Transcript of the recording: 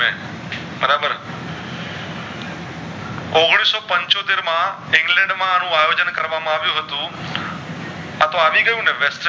ઔગણીશ પંચોતેર માં ઇંગ્લેન્ડ માં આયોજન કરવામાં આવ્યુ હતું આતો આવી ગયું ને